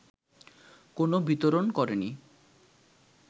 কোনো বিতরণ করেনি